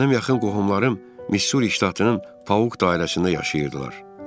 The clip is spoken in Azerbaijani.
Mənim yaxın qohumlarım Missuri ştatının Pauq dairəsində yaşayırdılar.